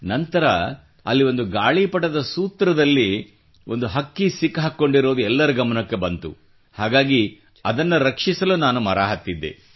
ನಂತರ ಅಲ್ಲಿ ಒಂದು ಗಾಳಿ ಪಟದ ಸೂತ್ರದಲ್ಲಿ ಪಕ್ಷಿ ಸಿಲುಕಿಕೊಂಡಿರುವುದು ಎಲ್ಲರ ಗಮನಕ್ಕೆ ಬಂತು ಹಾಗಾಗಿ ಅದನ್ನು ರಕ್ಷಿಸಲು ನಾನು ಮರ ಹತ್ತಿದ್ದೆ